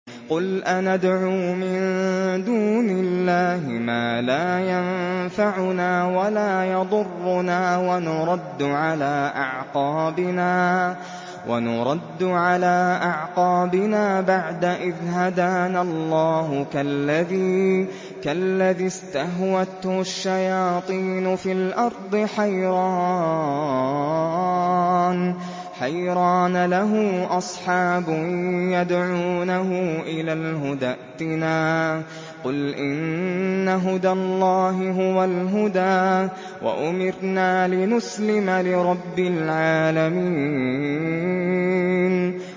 قُلْ أَنَدْعُو مِن دُونِ اللَّهِ مَا لَا يَنفَعُنَا وَلَا يَضُرُّنَا وَنُرَدُّ عَلَىٰ أَعْقَابِنَا بَعْدَ إِذْ هَدَانَا اللَّهُ كَالَّذِي اسْتَهْوَتْهُ الشَّيَاطِينُ فِي الْأَرْضِ حَيْرَانَ لَهُ أَصْحَابٌ يَدْعُونَهُ إِلَى الْهُدَى ائْتِنَا ۗ قُلْ إِنَّ هُدَى اللَّهِ هُوَ الْهُدَىٰ ۖ وَأُمِرْنَا لِنُسْلِمَ لِرَبِّ الْعَالَمِينَ